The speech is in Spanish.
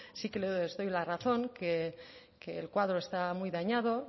sí que os doy la razón que el cuadro está muy dañado